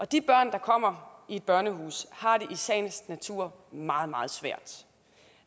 de børn der kommer i et børnehus har det i sagens natur meget meget svært